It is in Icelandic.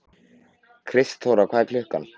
Kristþóra, hvað er klukkan?